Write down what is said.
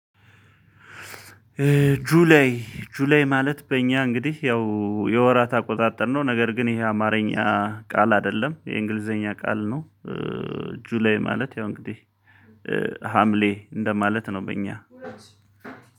ጁላይ ጁላይ ማለት በእኛ እንግዲህ ያው የወራት አቆጣጠርነው ነገር ግን ይሄ አማርኛ ቃል አይደለም የእንግሊዘኛ ቃል ነው። ጁላይ ማለት ያው እንግዲህ ሀምሌ እንደማለት ነው በእኛ።